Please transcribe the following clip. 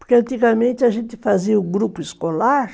Porque antigamente a gente fazia o grupo escolar,